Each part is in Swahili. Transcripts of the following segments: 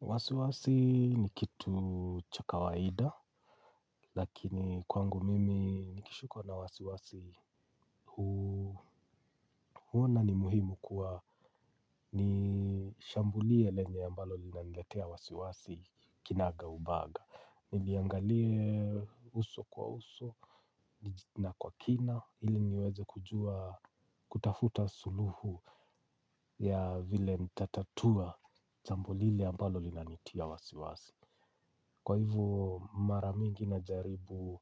Wasiwasi ni kitu cha kawaida, lakini kwangu mimi nikishikwa na wasiwasi huona ni muhimu kuwa nishambulie lenye ambalo linaniletea wasiwasi kinaga ubaga. Niliangalie uso kwa uso na kwa kina, ili niweze kujua kutafuta suluhu ya vile nitatatua jambo lile ambalo linanitia wasiwasi. Kwa hivyo mara mingi najaribu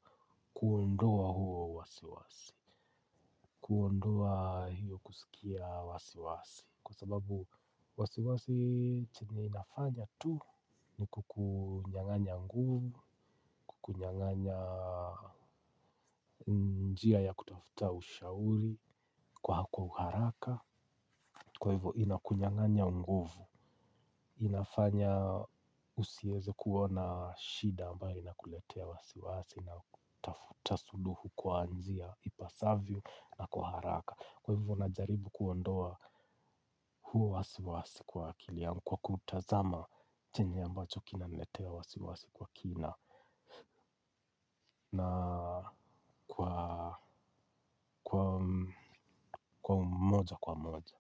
kuondoa huo wasiwasi. Kuondoa hiyo kusikia wasiwasi kwa sababu wasiwasi chini inafanya tu. Ni kukunyanganya nguvu. Kukunyanganya njia ya kutafuta ushauri. Kwako uharaka. Kwa hivyo inakunyanganya nguvu. Inafanya usieze kuona shida ambayo inakuletea wasiwasi. Na kutafuta suluhu kwa nzia ipasavyo na kwa haraka. Kwa hivyo najaribu kuondoa huo wasiwasi kwa akili yangu. Kwa kuutazama chenye ambacho kinaniletea wasiwasi kwa kina na kwa kwa moja kwa moja.